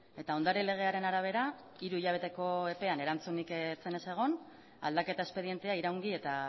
eta ondare legearen arabera hiru hilabeteko epean erantzunik ez zenez egon aldaketa espedientea iraungi eta